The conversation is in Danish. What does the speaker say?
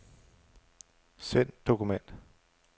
Send dokument.